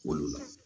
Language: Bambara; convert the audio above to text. Olu la